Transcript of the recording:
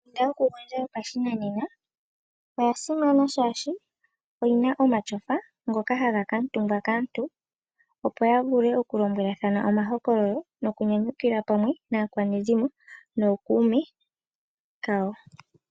Ondunda yokugondja yopashinanena oya simana oshoka oyina iipundi yopashinanena mbyoka hayi kamutumbwa kaantu opo ya vule oku lobwelathana omahokololo noku nyanyukilwa pamwe naakwanezimo nokuume kawo.